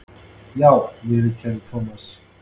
Já viðurkenndi Thomas.